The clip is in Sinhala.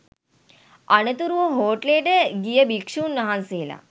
අනතුරුව හෝටලයට ගිය භික්ෂූන් වහන්සේලා